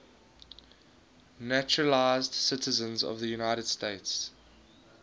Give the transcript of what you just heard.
naturalized citizens of the united states